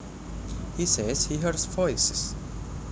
He says he hears voices